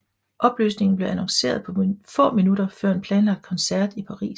Opløsningen blev annonceret få minutter før en planlagt koncert i Paris